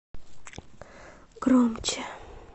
громче